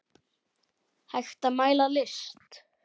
Hægt að mæla list?